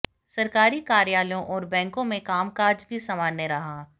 सरकारी कार्यालयों और बैंकों में कामकाज भी सामान्य रहा